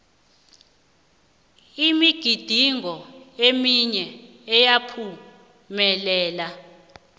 imigidingo eminye iyaphumelela